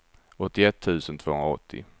åttioett tusen tvåhundraåttio